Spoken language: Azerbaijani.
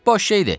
Boş şeydir.